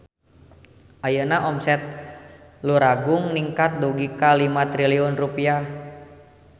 Ayeuna omset Luragung ningkat dugi ka 5 triliun rupiah